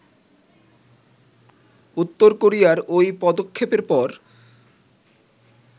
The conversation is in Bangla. উত্তর কোরিয়ার ওই পদক্ষেপের পর